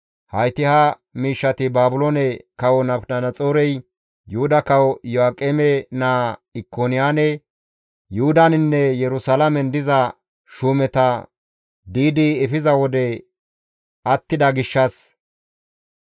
hayti ha miishshati Baabiloone Kawo Nabukadanaxoorey Yuhuda Kawo Iyo7aaqeme naa Ikoniyaane, Yuhudaninne Yerusalaamen diza shuumeta di7idi efiza wode attida gishshas,